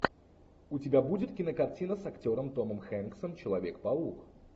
у тебя будет кинокартина с актером томом хэнксом человек паук